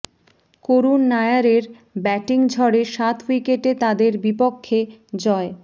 করুন নায়ারের ব্যাটিং ঝড়ে সাত উইকেটে তাদের বিপক্ষে জয়